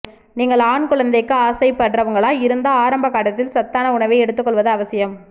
நீங்கள் ஆண் குழந்தைக்கு ஆசை படுறவங்களா இருந்தா ஆரம்ப காலத்தில் சத்தான உணவை எடுத்து கொள்வது அவசியம்